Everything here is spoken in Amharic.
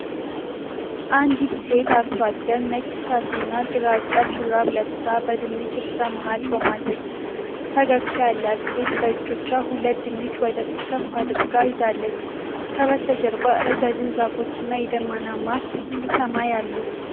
አንዲት ሴት አርሶ አደር ነጭ ሻሽና ግራጫ ሹራብ ለብሳ በድንች እርሻ መሃል ቆማለች። ፈገግታ ያላት ሴት በእጆቿ ሁለት ድንች ወደ ፊት ከፍ አድርጋ ይዛለች። ከበስተጀርባ ረዣዥም ዛፎች እና የደመናማ ሰማይ አሉ።